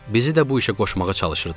Bizi də bu işə qoşmağa çalışırdılar.